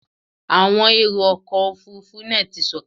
Àwọn èrò ọkọ̀ Òfurufú náà ti sọ̀kalẹ̀.